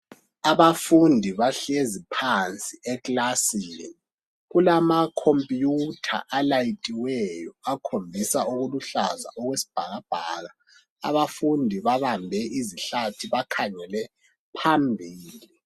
Abafundi bahĺezi phansi ekilasini kulamakhomputha alayithiweyo akhombisa ubuhlaza ekwesibhakabhaka Abafundi babambe izihlathi bakhangele phambili.